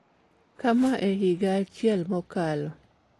kama e higa achiel mokalo